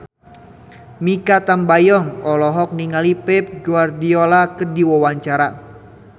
Mikha Tambayong olohok ningali Pep Guardiola keur diwawancara